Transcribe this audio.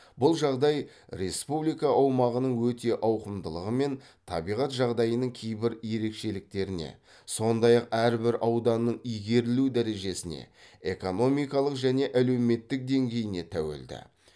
бұл жағдай республика аумағының өте ауқымдылығымен табиғат жағдайының кейбір ерекшеліктеріне сондай ақ әрбір ауданның игерілу дәрежесіне экономикалық және әлеуметтік деңгейіне тәуелді